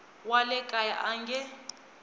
wa le kaya a nge